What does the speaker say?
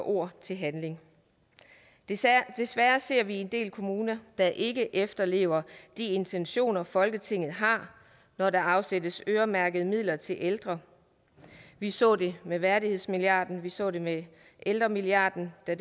ord til handling desværre ser vi en del kommuner der ikke efterlever de intentioner folketinget har når der afsættes øremærkede midler til ældre vi så det med værdighedsmilliarden og vi så det med ældremilliarden der